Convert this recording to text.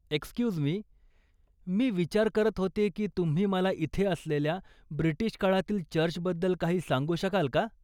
Excuse me, मी विचार करत होते की तुम्ही मला इथे असलेल्या ब्रिटीश काळातील चर्चबद्दल काही सांगू शकाल का?